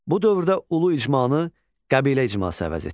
Bu dövrdə ulu icmanı qəbilə icması əvəz etdi.